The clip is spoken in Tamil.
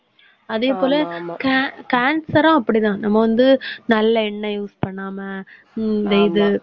அதே போல can~, cancer ம் அப்படித்தான். நம்ம வந்து நல்ல எண்ணெய் use பண்ணாம ஹம் இந்த இது